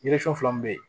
fila min bɛ yen